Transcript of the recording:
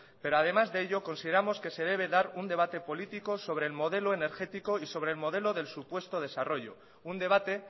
pero además de ello consideramos que se debe dar un debate político sobre el modelo energético y sobre el modelo del supuesto desarrollo un debate